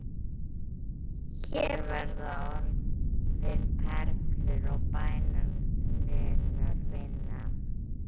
Hér verða orðin perlur og bænirnar vinna.